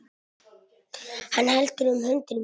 Hann heldur um hönd mína.